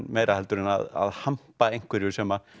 meira heldur en að hampa einhverjum sem